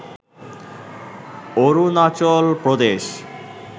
Arunachal Pradesh